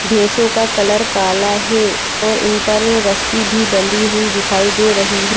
भेसो का कलर काला हे और इन पर रस्सी भी बंदी हुयी दिखाई हुयी हे।